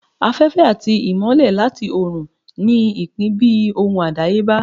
Afẹfẹ ati imọlẹ latí orun ní ipin bi ohun adayeba.